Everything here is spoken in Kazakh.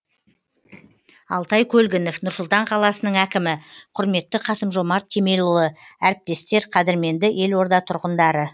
алтай көлгінов нұр сұлтан қаласының әкімі құрметті қасым жомарт кемелұлы әріптестер қадірменді елорда тұрғындары